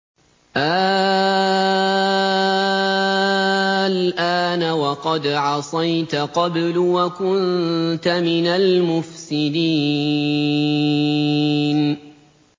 آلْآنَ وَقَدْ عَصَيْتَ قَبْلُ وَكُنتَ مِنَ الْمُفْسِدِينَ